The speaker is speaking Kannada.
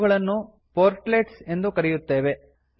ಇವುಗಳನ್ನು ಪೊರ್ಟ್ಲೆಟ್ಸ್ ಎಂದು ಕರೆಯುತ್ತೇವೆ